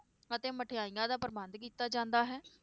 ਅਤੇ ਮਠਿਆਈਆਂ ਦਾ ਪ੍ਰਬੰਧ ਕੀਤਾ ਜਾਂਦਾ ਹੈ।